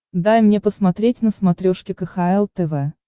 дай мне посмотреть на смотрешке кхл тв